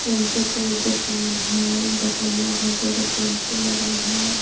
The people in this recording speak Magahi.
टेंपो के दुकान है दुकनिया भर दुगो टेंपू लगल है.